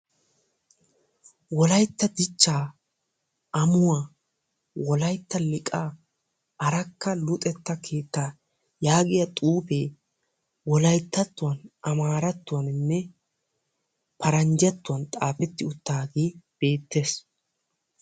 Wolaytta dichcha ammuwaa wolaytta liiqa arakka luxetta keetta yaagiyaa xuufe wolayttatuwaan, amaratuwaaninne Paranjjatuwaa xaafeti uttaage beettees.